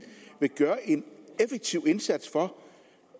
vil gøre en effektiv indsats for